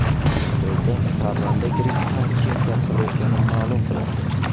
Xitoyda parranda grippi ham keng tarqalayotgani ma’lum qilindi.